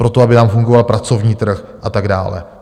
Pro to, aby nám fungoval pracovní trh a tak dále.